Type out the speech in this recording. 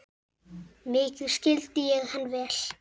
Mikið skildi ég hann vel.